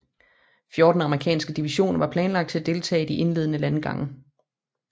Fjorten amerikanske divisioner var planlagt til at deltage i de indledende landgange